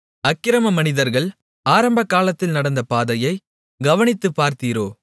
அக்கிரம மனிதர்கள் ஆரம்பகாலத்தில் நடந்த பாதையை கவனித்துப் பார்த்தீரோ